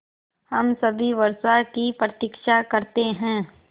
हम सभी वर्षा की प्रतीक्षा करते हैं